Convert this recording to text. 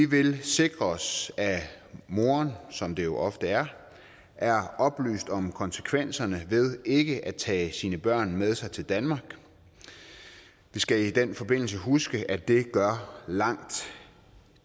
vil vi sikre os at moderen som det jo ofte er er oplyst om konsekvenserne af ikke at tage sine børn med sig til danmark vi skal i den forbindelse huske at det gør langt